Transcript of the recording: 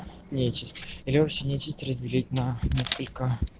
нечисть или вообще нечесть разделить на несколько